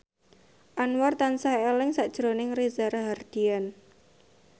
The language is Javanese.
Anwar tansah eling sakjroning Reza Rahardian